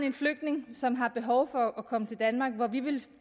en flygtning som har behov for at komme til danmark og hvor vi ville